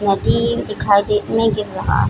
नदी भी दिखाई दे नहीं दिख रहा।